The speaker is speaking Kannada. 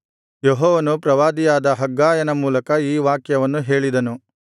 ಯೆಹೋವನು ಪ್ರವಾದಿಯಾದ ಹಗ್ಗಾಯನ ಮೂಲಕ ಈ ವಾಕ್ಯವನ್ನು ಹೇಳಿದನು